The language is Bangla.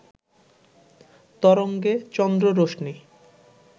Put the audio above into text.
তরঙ্গে চন্দ্ররশ্মি